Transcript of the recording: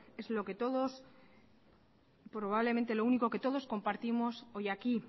es probablemente lo único que todos compartimos hoy aquí